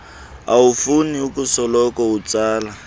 awufuni ukusoloko utsala